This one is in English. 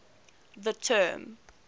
the term